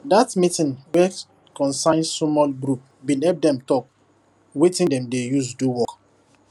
dat meeting wey concern sumol group been help dem talk wetin dem dey use do work